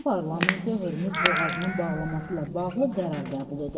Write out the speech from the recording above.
İran parlamenti Hörmüz boğazının bağlanması ilə bağlı qərar qəbul edib.